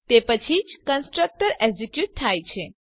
તે પછી જ કન્સ્ટ્રક્ટર એક્ઝીક્યુટ થાય છે